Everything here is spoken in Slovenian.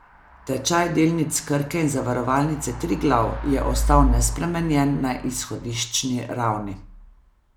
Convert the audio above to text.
Tečaj delnic Krke in Zavarovalnice Triglav je ostal nespremenjen na izhodiščni ravni.